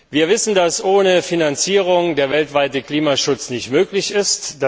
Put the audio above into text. Wir wissen, dass ohne Finanzierung der weltweite Klimaschutz nicht möglich ist.